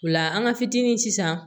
O la an ka fitini sisan